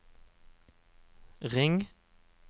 ring